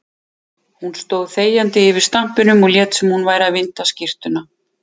Hún stóð þegjandi yfir stampinum og lét sem hún væri að vinda skyrtuna.